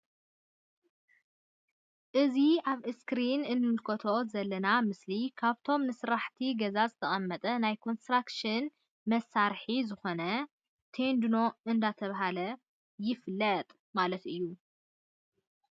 አእዚ አብ እስክሪን እንምልከቶ ዘለና ምስሊ ካብቶም ንስራሕቲ ገዛ ዝጠቅም ናይ ኮንስትራክሽን መሳርሒ ዝኮነ ተንዲኖ እንዳ ተብሃለ ይፍለጥ ማለት እዩ::